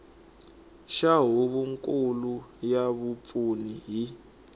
xa huvonkulu ya vapfuni hi